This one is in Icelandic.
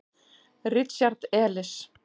Richard Elis.